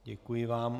Děkuji vám.